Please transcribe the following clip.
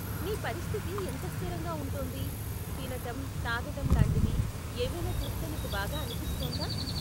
నీ పరిస్థితి ఎంత స్థిరంగా ఉంటోంది, తినటం, తాగటం లాంటివి ఏవైనా చేస్తే నీకు బాగా అనిపిస్తోందా?